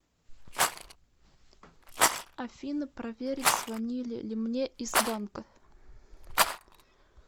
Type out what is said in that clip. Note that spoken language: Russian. афина проверить звонили ли мне из банка